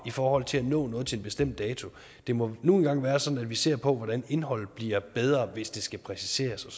i forhold til at nå noget til en bestemt dato det må nu engang være sådan at vi ser på hvordan indholdet bliver bedre hvis det skal præciseres og